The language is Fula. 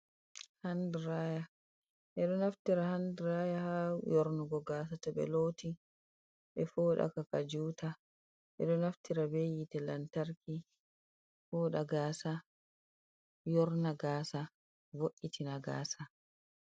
Handiraya. Ɓe ɗo naftira handiraya haa yornugo gaasa to ɓe looti, ɓe foɗaka ka juta. Ɓe ɗo naftira be yite lantarki fooɗa gaasa, yorna gaasa, vo’’itina gaasa.